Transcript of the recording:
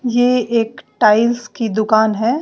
यह एक टाइल्स की दुकान है।